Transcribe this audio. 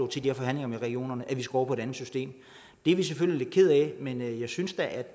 de her forhandlinger med regionerne at vi skal over på et andet system er vi selvfølgelig lidt kede af men jeg synes da at